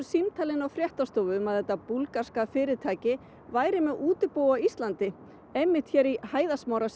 símtal inn á fréttastofu um að þetta búlgarska fyrirtæki væri með útibú á Íslandi einmitt hér í hæðarsmára